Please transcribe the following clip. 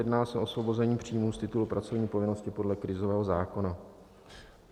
Jedná se o osvobození příjmů z titulu pracovní povinnosti podle krizového zákona.